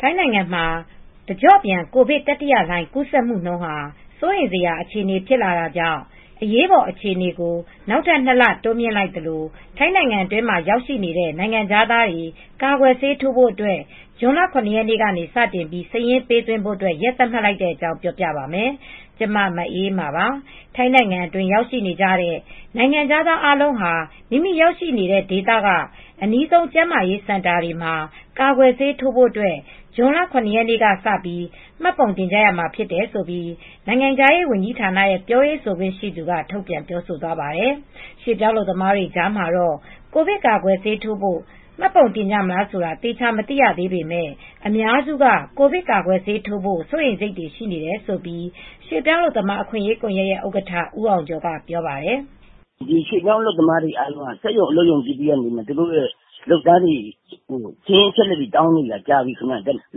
ထိုင်းနိုင်ငံမှာ တကျော့ပြန် ကိုဗစ်တတိယလှိုင်း ကူးစက်မှုနှုန်းဟာ စိုးရိမ်စရာ အခြေအနေ ဖြစ်လာတာကြောင့် အရေးပေါ်အခြေအနေကို နောက်ထပ်နှစ်လ တိုးမြှင့်လိုက်သလို ထိုင်းနိုင်ငံအတွင်းမှာ ရောက်ရှိနေတဲ့ နိုင်ငံခြားသားတွေ ကာကွယ်ဆေးထိုးဖို့အတွက် ဇွန်လ ၇ ရက်နေ့ကစတင်ပြီး စာရင်းပေးသွင်းဖို့ ရက်သတ်မှတ်လိုက်ပါတယ်။ အပြည့်အစုံကို မအေးအေးမာ တင်ပြပေးထားပါတယ်။ ထိုင်းနိုင်ငံအတွင်း ရောက်ရှိနေကြတဲ့ နိုင်ငံခြားသားအားလုံးဟာ မိမိရောက်ရှိနေတဲ့ ဒေသက အနီးဆုံး ကျန်းမာရေးစင်တာတွေမှာ ကာကွယ်ဆေးထိုးဖို့ ဇွန်လ ၇ ရက်နေ့ကစပြီး မှတ်ပုံတင်ကြမှာ ဖြစ်တယ်လို့ နိုင်ငံခြားရေးဌာနက ပြောရေးဆိုခွင့်ရှိသူက ထုတ်ပြန်ပြောဆိုသွားပါတယ်။ ရွှေ့ပြောင်းအလုပ်သမားတွေကြားမှာတော့ ကိုဗစ်ကာကွယ်ဆေးထိုးဖို့ မှတ်ပုံတင်ကြမလား ဆိုတာ သေချာမသိရသေးပေမယ့် အများစုက ကိုဗစ်ကာကွယ်ဆေးထိုးဖို့ စိုးရိမ်စိတ်တွေ ရှိနေတယ်လို့ ရွှေ့ပြောင်းအလုပ်သမား အခွင့်အရေးကွန်ရက်ရဲ့ ဥက္ကဋ္ဌ ဦးအောင်ကျော်က ဆိုပါတယ်။ “ရွှေ့ပြောင်းအလုပ်သမားတွေကို သူတို့ စက်ရုံအလုပ်ရုံ အသီးသီးကနေ သတင်းအချက်အလက်တွေ တောင်းနေတာ ကြာပြီ။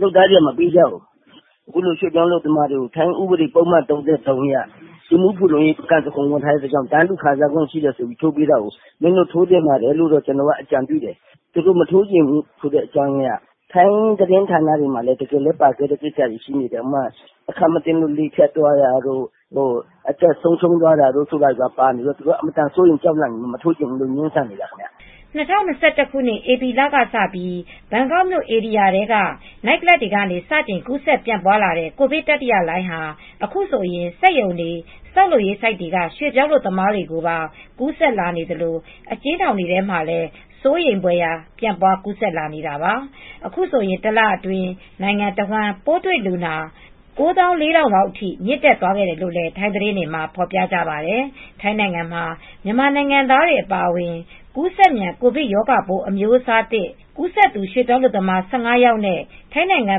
လုပ်သားတွေက မပေးကြဘူး။ အခုလို ရွှေ့ပြောင်းအလုပ်သမားတွေကို ထိုင်းဥပဒေပုဒ်မ ၃၃ အရ လူူမှုဖူလုံရေး (ပကန်ဆန်ခွန်း) ဝင်ထားတဲ့အတွက် တန်းတူခံစားခွင့် ရှိတယ်ဆိုပြီး ထိုးပေးတာကို မင်းတို့ထိုးသင့်ပါတယ်လို့ ကျနော်တို့က အကြံပြုတယ်။ ထိုင်းသတင်းတွေမှာလည်း တကယ်လည်း ပါတဲ့ကိစ္စတွေ ရှိနေတာက အခန့်မသင့်လို့ လေဖြတ်တာတို့ သေဆုံးတာတို့တွေ ဖြစ်နေတော့ သူတို့က မထိုးချင်ဘူးဆိုပြီး ငြင်းဆန်နေကြတာခင်ဗျ။” ၂၀၂၁ ဧပြီလကစပြီး ဘန်ကောက်မြို့ ဧရိယာထဲက နိုက်ကလပ်တွေကနေ စတင်ကူးစက် ပြန့်လာတဲ့ ကိုဗစ်တတိယလှိုင်းဟာ အခုဆိုရင် စက်ရုံတွေ ဆောက်လုပ်ရေးဆိုက်တွေက ရွှေ့ပြောင်းအလုပ်သမားတွေကို ကူးစက်လာနေသလို အကျဉ်းထောင်တွေထဲမှာလည်း စိုးရိမ်ဖွယ် ပြန့်ပွားကူးစက်လာနေတာပါ။ အခုဆိုရင် တလအတွင်း နိုင်ငံတဝန်း ပိုးတွေ့လူနာ ၉၄,၀၀၀ အထိ မြင့်တက်သွားခဲ့တယ်လို့ ထိုင်းသတင်းတွေမှာ ဖော်ပြကြပါတယ်။ ထိုင်းနိုင်ငံမှာ မြန်မာနိုင်ငံသားတွေ အပါအဝင် ကူးစက်မြန် ကိုဗစ်ရောဂါပိုး အမျိုးအစားသစ် ကူးစက်သူ ရွှေ့ပြောင်းအလုပ်သမား ၁၅ ယောက်နဲ့ ထိုင်းနိုင်ငံ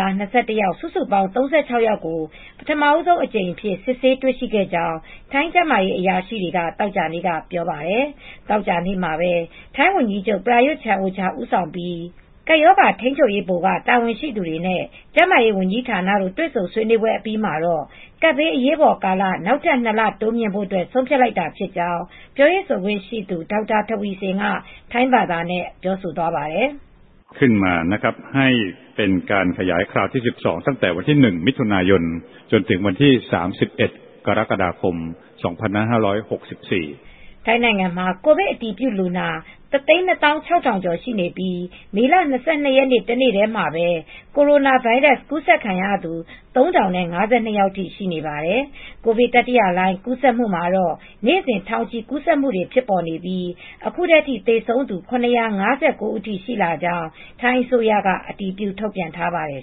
သား ၂၁ ယောက် စုစုပေါင်း ၃၆ ယောက်ကို ပထမဆုံးအကြိမ်အဖြစ် စစ်ဆေးတွေ့ရှိခဲ့ကြောင်း ထိုင်းကျန်းမာရေး အရာရှိတွေက သောကြာနေ့က ပြောပါတယ်။ သောကြာနေ့မှာပဲ ထိုင်းဝန်ကြီးချုပ် Prayuth Chan-o-cha ဦးဆောင်ပြီး Centre for COVID-19 Situation Administration (CCSA) ကပ်ရောဂါထိန်းချုပ်ရေး ဗဟိုက တာဝန်ရှိသူတွေနဲ့ ကျန်းမာရေးဝန်ကြီးဌာနတို့ တွေ့ဆုံဆွေးနွေးပွဲအပြီးမှာ ကပ်ဘေးအရေးပေါ်ကာလ နောက်ထပ်နှစ်လ တိုးမြှင့်ဖို့ ဆုံးဖြတ်လိုက်တာဖြစ်ကြောင်း ပြောရေးဆိုခွင့်ရှိသူ ဒေါက်တာ ထဝီဆင်က ထိုင်းဘာသာနဲ့ ပြောသွားပါတယ်။ ထိုင်းနိုင်ငံမှာ ကိုဗစ်အတည်ပြုလူနာ ၁၂၆,၀၀၀ ကျော်ရှိပြီး မေလ ၂၂ ရက်နေ့ တနေ့တည်းမှာပဲ ကိုရိုနာဗိုင်းရပ်စ် ကူးစက်ခံရသူ ၃,၀၅၂ ယောက်ထိ ရှိနေပါတယ်။ ကိုဗစ်တတိယလှိုင်း ကူးစက်မှုမှာတော့ နေ့စဉ် ထောင်ချီကူးစက်မှုတွေဖြစ်နေပြီး အခုထိ သေဆုံးသူ ၇၅၉ ဦးထိရှိလာကြောင်း ထိုင်းအစိုးရက အတည်ပြု ထုတ်ပြန်ထားပါတယ်